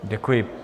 Děkuji.